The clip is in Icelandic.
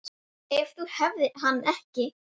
Ef þú hefðir hann ekki.